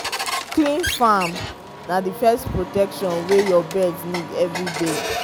clean farm na the first protection wey your birds need every day.